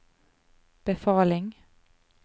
befaling